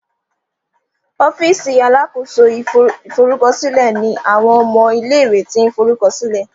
ọ́fíìsì alákóso ìforúkọsílẹ ní àwọn ọmọ ilé ìwé tin lo forukọsilẹ